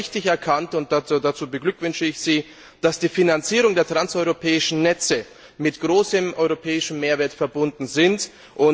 Und Sie haben richtig erkannt, und dazu beglückwünsche ich Sie, dass die Finanzierung der Transeuropäischen Netze mit einem großen europäischen Mehrwert verbunden ist.